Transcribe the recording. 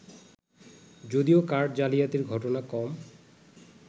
যদিও কার্ড জালিয়াতির ঘটনা কম